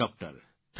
thank you